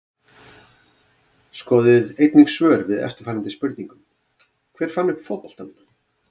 Skoðið einnig svör við eftirfarandi spurningum Hver fann upp fótboltann?